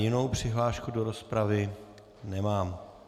Jinou přihlášku do rozpravy nemám.